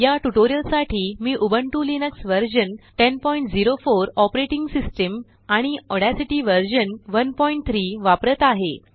याट्यूटोरियलसाठी मीउबन्तु Linux version 1004 operating system आणिऑड्यासिटी version 13 वापरत आहे